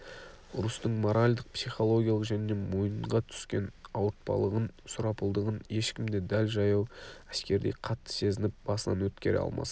ұрыстың моральдық психологиялық және мойынға түскен ауыртпалығын сұрапылдығын ешкім де дәл жаяу әскердей қатты сезініп басынан өткере алмас